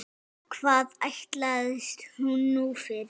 Hvað ætlast hún nú fyrir?